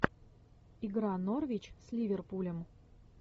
игра норвич с ливерпулем